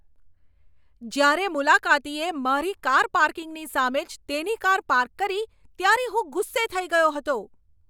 જ્યારે મુલાકાતીએ મારી કાર પાર્કિંગની સામે જ તેની કાર પાર્ક કરી ત્યારે હું ગુસ્સે થઈ ગયો હતો.